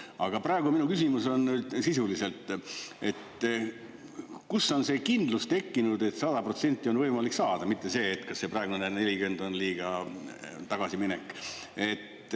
Aga praegu minu küsimus on nüüd sisuliselt: kus on see kindlus tekkinud, et 100% on võimalik saada, mitte see, kas see praegune 40 on liiga tagasiminek?